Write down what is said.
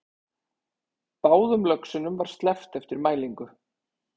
Báðum löxunum var sleppt eftir mælingu